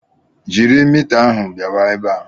Jiri mita ahụ bịawa ebe a!